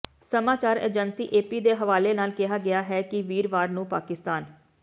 ਸਮਾਚਾਰ agency AP ਦੇ ਹਵਾਲੇ ਨਾਲ ਕਿਹਾ ਗਿਆ ਹੈ ਕਿ ਵੀਰਵਾਰ ਨੂੰ ਪਾਕਿਸਤਾਨ